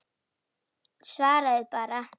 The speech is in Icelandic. Svaraðu bara.